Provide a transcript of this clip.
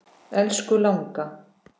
Elsku langa.